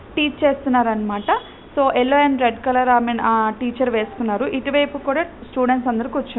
Teach చేస్తున్నారన్నమాట . So yellow and red colour and I mean ah teacher వేసుకున్నారు. ఇటువైపు కూడా స్టూడెంట్స్ అందరూ కూర్చు--